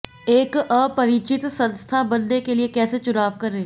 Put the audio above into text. एक अपरिचित संस्था बनने के लिए कैसे चुनाव करें